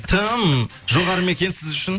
тым жоғары ма екен сіз үшін